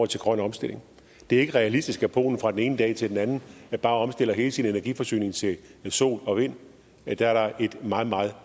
til grøn omstilling det er ikke realistisk at polen fra den ene dag til den anden bare omstiller hele sin energiforsyning til sol og vind der er et meget meget